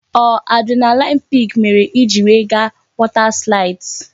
Ọ adrenaline peak mere I ji we ga water slides?